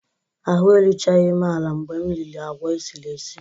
Ahụ́ eruchaghị m ala mgbe m riri agwa esiri esi